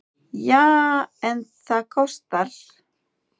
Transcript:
Já, en það kostar!